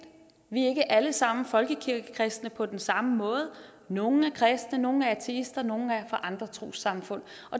vi er ikke alle sammen folkekirkekristne på den samme måde nogle er kristne nogle er ateister nogle er fra andre trossamfund